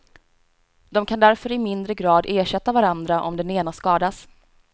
De kan därför i mindre grad ersätta varandra om den ena skadas.